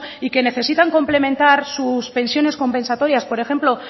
y que necesitan complementar sus pensiones compensatorias por ejemplo